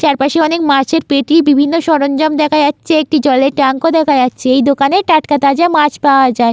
চারপাশে মাছের পেটি বিভিন্ন সরঞ্জাম দেখা যাচ্ছে একটি জলের ট্যাঙ্ক ও দেখা যাচ্ছে এই দোকানে টাটকা তাজা মাছ পাওয়া যায়।